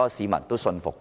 有市民信服。